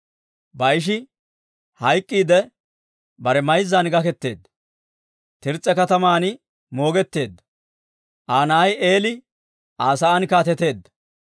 Baa'ishi hayk'k'iidde bare mayzzan gaketeedda; Tirs's'a kataman moogetteedda. Aa na'ay Eeli Aa sa'aan kaateteedda.